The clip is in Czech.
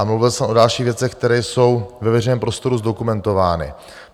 A mluvil jsem o dalších věcech, které jsou ve veřejném prostoru zdokumentovány.